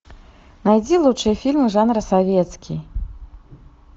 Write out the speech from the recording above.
найди лучшие фильмы жанра советский